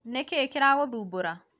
nĩkĩĩ kĩragũthumbũra?